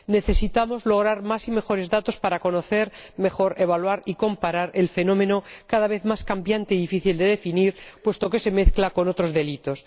Necesitamos lograr más y mejores datos para conocer mejor, evaluar y comparar el fenómeno, cada vez más cambiante y difícil de definir puesto que se mezcla con otros delitos